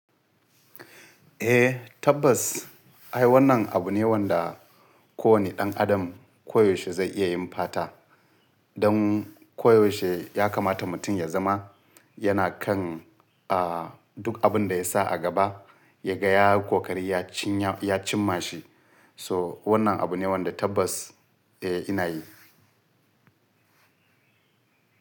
Eh tabbas, ai wannan abu ne wanda kowane ɗan adam koyaushe zai iya yin fata. Don koyaushe ya kamata mutum ya zama yana kan, ah, duk abin da ya sa a gaba ya ga ya yi kokari ya cinya-- ya cimma shi. So wannan abu ne wanda tabbas eh ina yi.